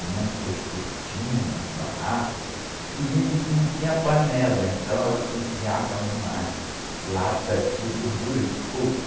Mamãe pôs cortina no barraco e não tinha panela, então ela cozinhava numas latas de gordura de coco.